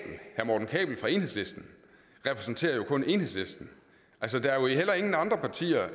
fra enhedslisten repræsenterer jo kun enhedslisten der er jo heller ingen andre partier